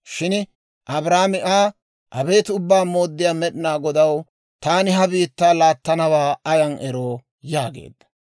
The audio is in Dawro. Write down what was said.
Shin Abraamo Aa, «Abeet Ubbaa Mooddiyaa Med'inaa Godaw, taani ha biittaa laattanawaa ayaan eroo?» yaageedda.